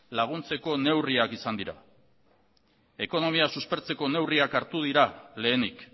laguntzeko neurriak izan dira ekonomia suspertzeko neurriak hartu dira lehenik